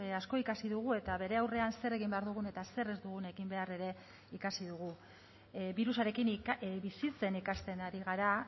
asko ikasi dugu eta bere aurrean zer egin behar dugun eta zer ez dugun egin behar ere ikasi dugu birusarekin bizitzen ikasten ari gara